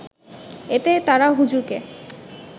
এতে তারা হুজুরকে